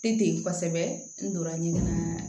Ten kosɛbɛ n donna ɲinini